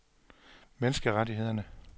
menneskerettighederne